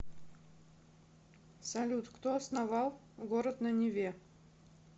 салют кто основал город на неве